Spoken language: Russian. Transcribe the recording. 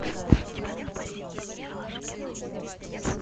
у тебя в запасе есть ералаш кино